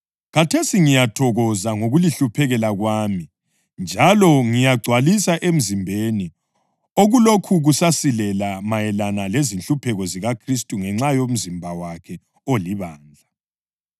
Khathesi ngiyathokoza ngokulihluphekela kwami njalo ngiyagcwalisa emzimbeni okulokhu kusasilela mayelana lezinhlupheko zikaKhristu ngenxa yomzimba wakhe olibandla.